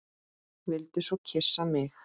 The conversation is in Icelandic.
Vildi svo kyssa mig.